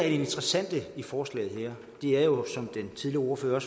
interessante i forslaget her er jo som den tidligere ordfører